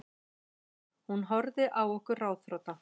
Hún horfði á okkur ráðþrota.